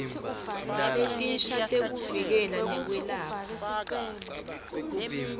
letinsha tekuvikela nekwelapha